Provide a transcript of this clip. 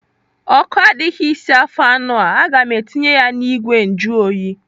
Ọkụ adịghị isi afọ anụ a. Aga m etinye ya n'igwe njuoyi.